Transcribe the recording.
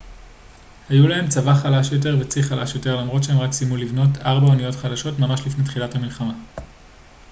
היו להם צבא חלש יותר וצי חלש יותר למרות שהם רק סיימו לבנות ארבע אניות חדשות ממש לפני תחילת המלחמה